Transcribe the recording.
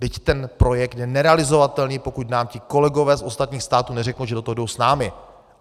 Vždyť ten projekt je nerealizovatelný, pokud nám ti kolegové z ostatních států neřeknou, že do toho jdou s námi.